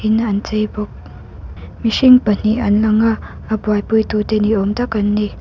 in an chei bawk mihring pahnih an lang a a buaipui tu te ni awm tak an ni.